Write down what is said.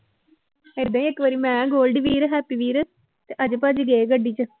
ਏਦਾਂ ਹੀ ਇੱਕ ਵਾਰੀ ਮੈਂ ਗੋਲਡੀ ਵੀਰ, ਹੈਪੀ ਵੀਰ ਤੇ ਅਜੇ ਭਾਜੀ ਗਏ ਗੱਡੀ ਚ